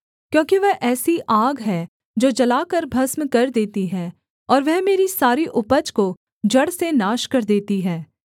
क्योंकि वह ऐसी आग है जो जलाकर भस्म कर देती है और वह मेरी सारी उपज को जड़ से नाश कर देती है